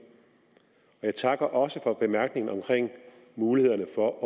jeg takker også for bemærkningen om mulighederne for at